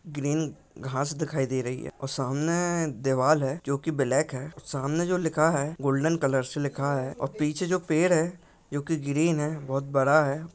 Green घाँस दिखाई दे रही है और सामने दीवाल है जो की ब्लॅक है। सामने जो लिखा है गोल्डन कलर से लिखा है और पीछे जो पेड़ है जो की ग्रीन है बहुत बड़ा है।